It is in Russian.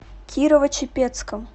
кирово чепецком